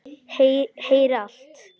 Heyri allt.